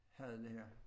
Havde det her